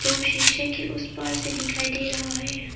जो शीशे के उस पार से दिखाई दे रहा है।